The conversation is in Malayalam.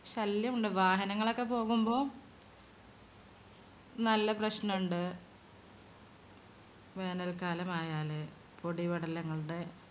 ശല്യമുണ്ട്. വാഹനങ്ങളൊക്കെ പോകുമ്പോ നല്ല പ്രശ്‌നം ഇണ്ട് വേനൽക്കാലം ആയാല് പൊടിപടലങ്ങളുടെ